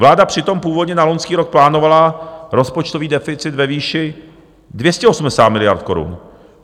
Vláda přitom původně na loňský rok plánovala rozpočtový deficit ve výši 280 miliard korun.